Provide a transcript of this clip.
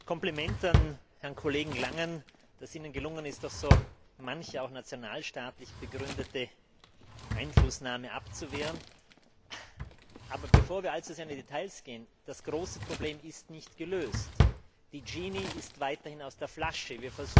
Kompliment an Herrn Kollegen Langen, dass es Ihnen gelungen ist, doch so manche auch nationalstaatlich begründete Einflussnahme abzuwehren! Bevor wir allzu sehr in die Details gehen Das große Problem ist nicht gelöst, die Dschinni ist weiterhin aus der Flasche.